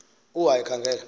u haka ekhangele